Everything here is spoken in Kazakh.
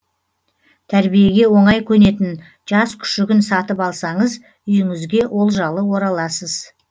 тәрбиеге оңай көнетін жас күшігін сатып алсаңыз үйіңізге олжалы ораласыз